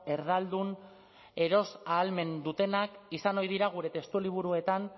erdaldun eros ahalmena dutenak izan ohi dira gure testu liburuetan